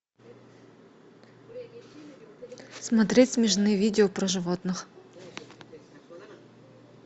смотреть смешные видео про животных